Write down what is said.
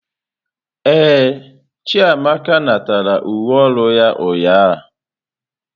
Ee, Chiamaka natara uwe ọrụ ya ụnyahụ.